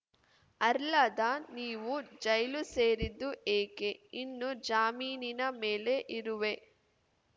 ಅರ್ಲದ ನೀವು ಜೈಲು ಸೇರಿದ್ದು ಏಕೆ ಇನ್ನೂ ಜಾಮೀನಿನ ಮೇಲೆ ಇರುವೆ